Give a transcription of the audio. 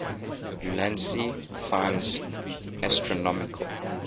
ulansey finds astronomical